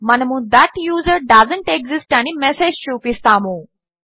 మనము that user doesn't exist అని message చూపిస్తాము